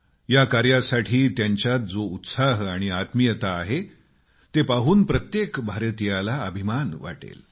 या कार्यासाठी त्यांच्यात जो उत्साह आणि आत्मीयता आहे ते पाहून प्रत्येक भारतीयाला अभिमान वाटेल